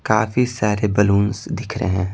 काफी सारे बैलूंस दिख रहे हैं।